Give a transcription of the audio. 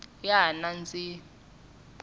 ya ha nandzihi